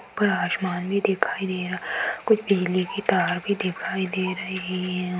ऊपर आसमान भी दिखाई दे रहा | कुछ बिजली की तार भी दिखाई दे रही हैं।